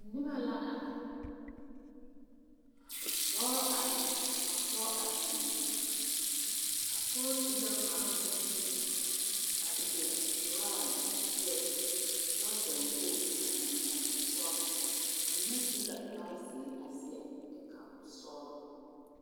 Noba la are dɔɔ are la ka pɔge are sugle a pɔge su la kparoŋ naŋ sigi a seɛ trou a seɛ trouser wogi a eŋ nɔɔtesɔglɔ ba mine su la kparezeɛ a seɛ nika sɔglɔ.